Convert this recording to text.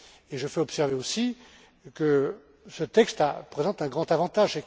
Et je fais observer aussi que ce texte présente un grand avantage.